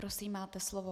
Prosím, máte slovo.